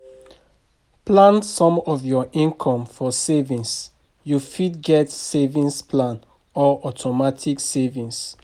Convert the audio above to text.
Plan some of your income for savings, you fit get savings plan or automatic savings